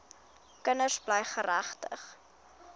kinders bly geregtig